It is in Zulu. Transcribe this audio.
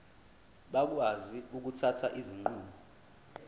bakwazi ukuthatha izinqumo